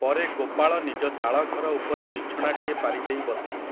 ପରେ ଗୋପାଳ ନିଜ ଚାଳଘର ଉପରେ ବିଛଣାଟିଏ ପାରିଦେଇ ବସିଲେ ।